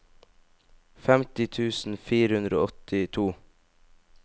femti tusen fire hundre og åttito